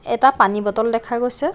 এটা পানী বটল দেখা গৈছে।